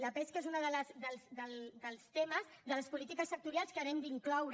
la pesca és un dels temes de les polítiques sectorials que hem d’incloure